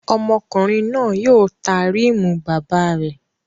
Ọmọkùnrin náà yóò ta rímù bàbá rẹ̀